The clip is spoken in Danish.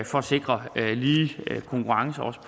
for at sikre lige konkurrence også